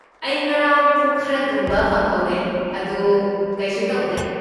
ꯑꯩ ꯉꯔꯥꯡ ꯄꯨꯡ ꯈꯔ ꯇꯨꯝꯕ ꯐꯪꯍꯧꯔꯦ, ꯑꯗꯨ ꯀꯩꯁꯨ ꯇꯧꯗ꯭꯭ꯔꯦ꯫